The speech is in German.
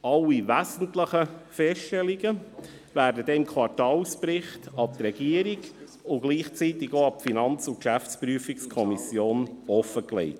Alle wesentlichen Feststellungen werden dann im Quartalsbericht an die Regierung und gleichzeitig gegenüber der FiKo und der GPK offengelegt.